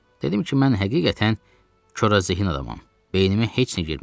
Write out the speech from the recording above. Dedim ki, mən həqiqətən korazehin adamam, beynimə heç nə girmir.